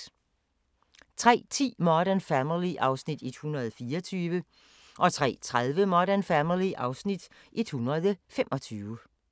03:10: Modern Family (Afs. 124) 03:30: Modern Family (Afs. 125)